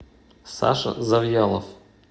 саша завьялов